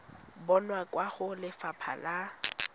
bonwa kwa go lefapha la